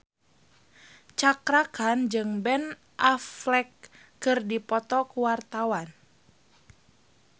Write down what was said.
Cakra Khan jeung Ben Affleck keur dipoto ku wartawan